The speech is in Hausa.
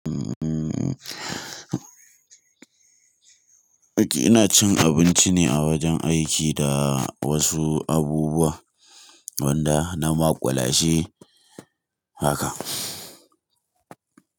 Uhm, ok ina cin abinci ne a wajen aiki da wasu abubuwan wanda na maƙulashe haka.